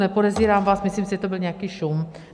Nepodezírám vás, myslím si, že to byl nějaký šum.